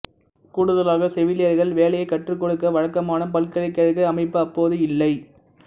கூடுதலாக செவிலியர்கள் வேலையைக் கற்றுக்கொடுக்க வழக்கமான பல்கலைக்கழக அமைப்பு அப்போது இல்லை